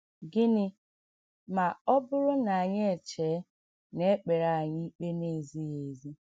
Gịnị ma ọ bụrụ na anyị echee na e kpere anyị ikpe na - ezighị ezi?